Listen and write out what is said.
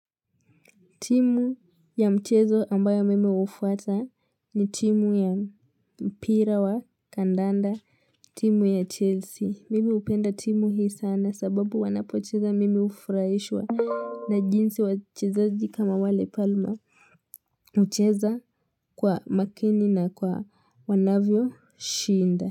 Timu ya mchezo ambayo mimi hufata ni timu ya mpira wa kandanda, timu ya Chelsea. Mimi hupenda timu hii sana sababu wanapocheza mimi hufuraishwa na jinsi wachezazi kama wale palma. Hucheza kwa makini na kwa wanavyoshinda.